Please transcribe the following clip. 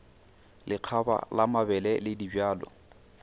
lekgaba la mabele le dibjalo